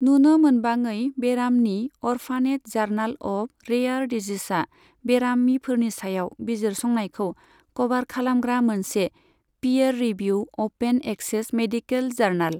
नुनो मोनबाङै बेरामनि अर्फानेट जार्नाल अफ रेआर डिजिजेजआ बेरामिफोरनि सायाव बिजिरसंनायखौ क'भार खालामग्रा मोनसे पियेर रिभिउद अपेन एक्सेस मेडिकल जार्नाल।